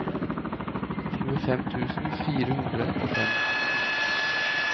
tjuefem tusen fire hundre og fem